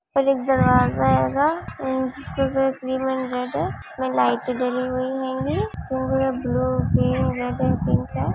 और एक दरवाज़ा हैगा जिसकी क्रीम एंड रेड है इसमें लाइटें डली हुई हैंगी जिनकी blue pink red and pink है।